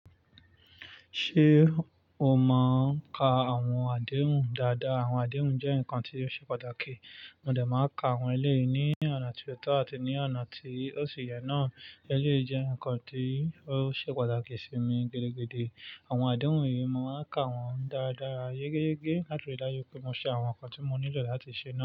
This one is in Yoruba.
Ṣé o mọ ń ka àwọn àdéhùn dáadáa? Àwọn àdéhùn jẹ́ ǹkan tí ó ṣe pàtàkì. Mo dẹ̀ máa ń ka àwọn eléyìí ní ọ̀nà tí ó tọ́ àti ní ọ̀nà tí ó ṣì yẹ náà. Eléyìí jẹ́ ǹkan tí ó ṣe pàtàkì sí mi gidigidi. Àwọn àdéhùn yìí mo máa ń ka wọ́n dáradára, yégéyégé, láti rí dájú pé mo ṣe àwọn ǹkan tí mo nílò láti ṣe náà.